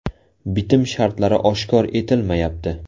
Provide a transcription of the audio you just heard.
Bitim shartlari oshkor etilmayapti.